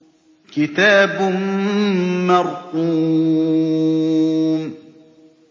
كِتَابٌ مَّرْقُومٌ